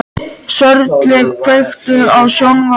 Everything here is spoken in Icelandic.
Sörli, kveiktu á sjónvarpinu.